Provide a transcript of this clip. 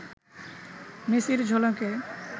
মেসির ঝলকে